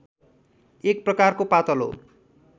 एक प्रकारको पातलो